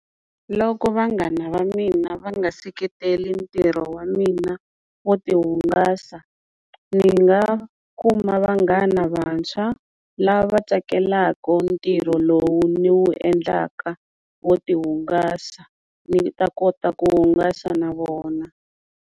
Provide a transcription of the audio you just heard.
Loko vanghana va mina va nga seketeli ntirho wa mina wo ti hungasa ni nga kuma vanghana vantshwa lava tsakelaka ntirho lowu ni wu endlaka wo ti hungasa ni ta kota ku hungasa na vona.